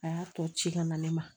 A y'a tɔ ci ka na ne ma